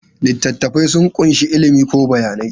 Littattafai sun ƙunshi ilimi ko bayanai.